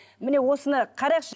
міне осыны қарайықшы